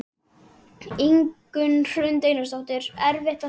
Ingunn Hrund Einarsdóttir: Erfitt að svara þessu?